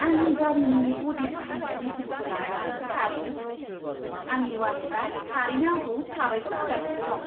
आंनि गारिनि ब'डि फाहामनाय बेसेनखौ लाना आं थारैनो खुसि, आंनि वालेटआ थारैनो आंखौ साबायखर होगासिनो दं!